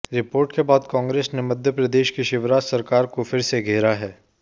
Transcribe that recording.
report के बाद कांग्रेस ने मध्य प्रदेश की शिवराज सरकार को फिर से घेरा है